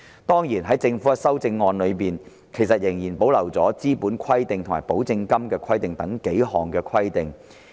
當然，在政府的修正案中，其實仍然保留了"資本規定"及"保證金規定"等數項規定。